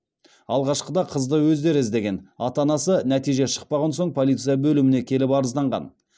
алғашқыда қызды өздері іздеген ата анасы нәтиже шықпаған соң полиция бөліміне келіп арызданған